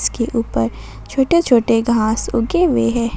के ऊपर छोटे छोटे घास उगे हुए हैं।